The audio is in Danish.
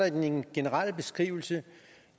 i den generelle beskrivelse